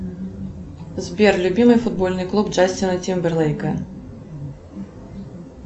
сбер любимый футбольный клуб джастина тимберлейка